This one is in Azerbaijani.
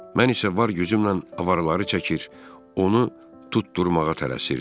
Mən isə var gücümlə avaraları çəkir, onu tutdurmağa tələsirdim.